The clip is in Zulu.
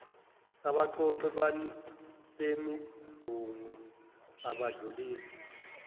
abaqoqi bemibungu abadlulisi